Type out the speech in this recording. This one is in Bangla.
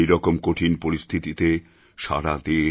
এইরকম কঠিন পরিস্থিতিতে সারা দেশ